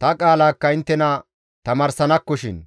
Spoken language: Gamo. ta qaalakka inttena tamaarsanakkoshin.